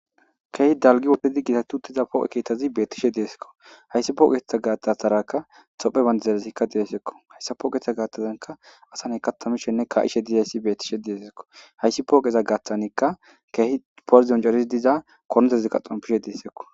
Keehi dalgi wotedi gitatu tiza pooqe keettazi beettishe deesekko hayssi pooqetha gaataarakka xophe banda zelesikka diesekko hayssa pooqetha gaatazanka asaney katamishenne ka7ishe dizayssi beettishe deesekko hayssi pooqeza gaaththaneka keehi porzion jaris diza konotezikka xompishe deessekko.